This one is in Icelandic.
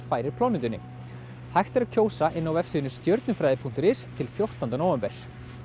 færir plánetunni hægt er að kjósa inni á vefsíðunni stjörnufræði punktur is til fjórtánda nóvember